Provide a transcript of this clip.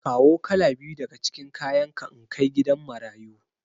Kawo kala biyu daga cikin kayanka in kai gidan marayu.